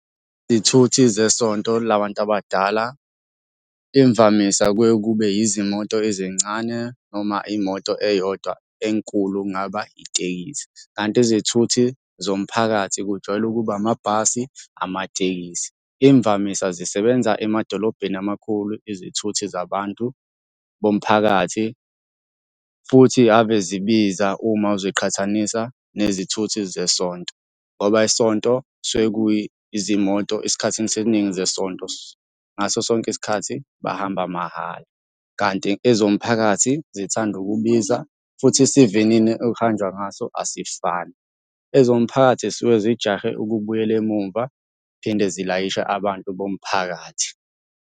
Izithuthi zesonto la bantu abadala imvamisa kuye kube yizimoto ezincane noma imoto eyodwa enkulu okungaba itekisi, kanti izithuthi zomphakathi kujwayele ukuba amabhasi, amatekisi. Imvamisa zisebenza emadolobheni amakhulu izithuthi zabantu bomphakathi futhi ave zibiza uma uziqhathanisa nezithuthi zesonto, ngoba isonto kusuke kuyi izimoto esikhathini seningi zesonto ngaso sonke isikhathi bahamba mahhala, kanti ezomphakathi zithanda ukubiza futhi isivinini ekuhanjwa ngaso asifani. Ezomphakathi zisuke zijahe ukubuyela emumva, phinde zilayishe abantu bomphakathi.